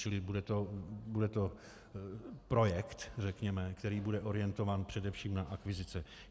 Čili bude to projekt řekněme, který bude orientován především na akvizice.